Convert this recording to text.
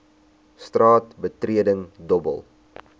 straat betreding dobbel